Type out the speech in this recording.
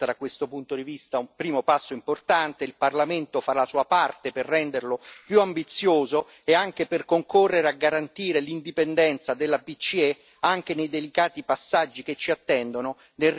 Il Parlamento fa la sua parte per renderlo più ambizioso e anche per concorrere a garantire l'indipendenza della BCE anche nei delicati passaggi che ci attendono nel rinnovo di alcune posizioni di vertice del suo Consiglio.